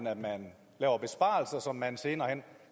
at man laver besparelser som man senere hen